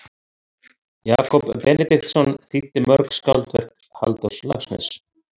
Jakob Benediktsson þýddi mörg skáldverk Halldórs Laxness.